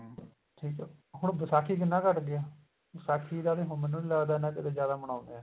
ਠੀਕ ਏ ਹੁਣ ਵਿਸਾਖੀ ਕਿੰਨਾ ਘੱਟ ਗਿਆ ਵਿਸਾਖੀ ਦਾ ਵੀ ਮੈਨੂੰ ਨੀ ਲੱਗਦਾ ਹੁਣ ਇੰਨਾ ਜਿਆਦਾ ਮਨਾਉਂਦੇ ਏ